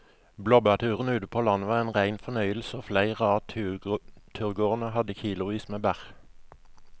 Blåbærturen ute på landet var en rein fornøyelse og flere av turgåerene hadde kilosvis med bær.